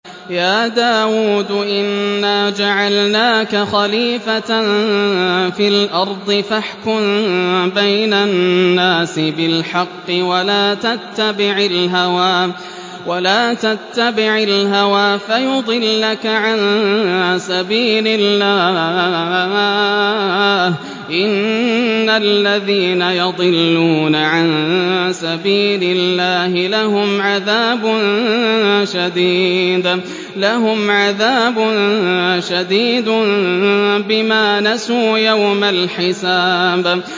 يَا دَاوُودُ إِنَّا جَعَلْنَاكَ خَلِيفَةً فِي الْأَرْضِ فَاحْكُم بَيْنَ النَّاسِ بِالْحَقِّ وَلَا تَتَّبِعِ الْهَوَىٰ فَيُضِلَّكَ عَن سَبِيلِ اللَّهِ ۚ إِنَّ الَّذِينَ يَضِلُّونَ عَن سَبِيلِ اللَّهِ لَهُمْ عَذَابٌ شَدِيدٌ بِمَا نَسُوا يَوْمَ الْحِسَابِ